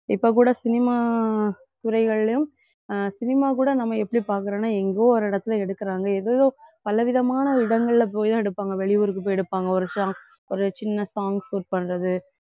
இப்ப கூட cinema துறைகள்லயும் அஹ் cinema கூட நம்ம எப்படி பாக்குறோம்னா எங்கோ ஒரு இடத்துல எடுக்குறாங்க ஏதேதோ பல விதமான இடங்கள்ல போய் தான் எடுப்பாங்க வெளியூருக்கு போய் எடுப்பாங்க ஒரு ஒரு சின்ன song shoot பண்றது